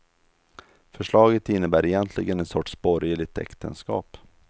Förslaget innebär egentligen en sorts borgerligt äktenskap.